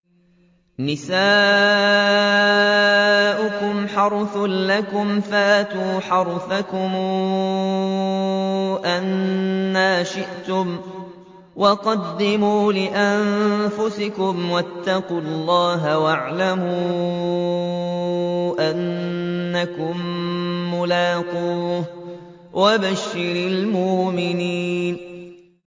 نِسَاؤُكُمْ حَرْثٌ لَّكُمْ فَأْتُوا حَرْثَكُمْ أَنَّىٰ شِئْتُمْ ۖ وَقَدِّمُوا لِأَنفُسِكُمْ ۚ وَاتَّقُوا اللَّهَ وَاعْلَمُوا أَنَّكُم مُّلَاقُوهُ ۗ وَبَشِّرِ الْمُؤْمِنِينَ